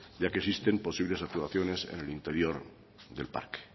ya que existen posibles actuaciones en el interior del parque